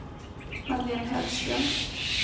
Madeleine Högström